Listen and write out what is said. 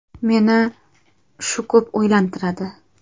Meni shu ko‘p o‘ylantiradi.